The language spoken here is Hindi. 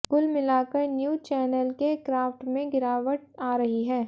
कुल मिलाकर न्यूज़ चैनल के क्राफ्ट में गिरावट आ रही है